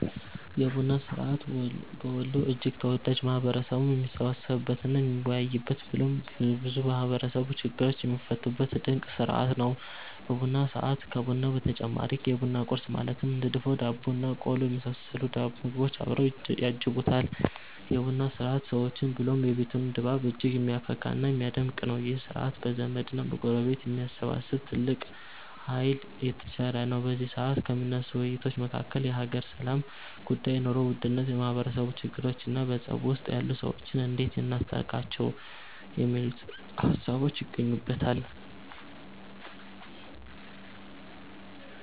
የቡና ስርዐት በወሎ እጅግ ተወዳጅ፣ ማህበረሰቡም የሚሰባሰብበት እና የሚወያይበት ብሎም ብዙ የማህበረሰቡ ችግሮች የሚፈቱበት ድንቅ ስርዐት ነው። በቡና ሰዐት ከቡናው በተጨማሪ የቡና ቁረስ ማለትም እንደ ድፎ ዳቦ እና ቆሎ የመሰሉ ምግቦች አብረው ያጅቡታል። የ ቡና ስርዐት ሰዎችን ብሎም የቤቱን ድባብ እጅግ የሚያፈካ እና የሚያደምቅ ነው። ይህ ስርዐት ዘመድ እና ጎረቤትን የማሰባሰብ ትልቅ ሃይልን የተቸረ ነው። በዚ ሰዐት ከሚነሱ ውይይቶች መካከል የሃገር ሰላም ጉዳይ፣ የ ኑሮ ውድነት፣ የማህበረሰቡ ችግሮቾ እና በፀብ ውስጥ ያሉ ሰዎችን እንዴት እናስታርቃቸው የሚሉት ሃሳቦች ይገኙበተል።